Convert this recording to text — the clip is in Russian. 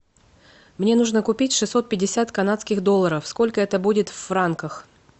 мне нужно купить шестьсот пятьдесят канадских долларов сколько это будет в франках